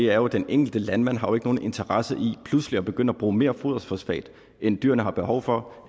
er jo at den enkelte landmand ikke har nogen interesse i pludselig at begynde at bruge mere foderfosfat end dyrene har behov for